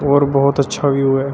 और बहुत अच्छा व्यू है।